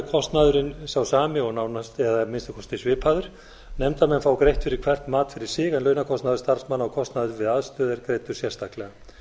kostnaðurinn sá sami eða að minnsta kosti svipaður nefndarmenn fá greitt fyrir hvert mat fyrir sig en launakostnaður starfsmanna og kostnaður við aðstöðu er greiddur sérstaklega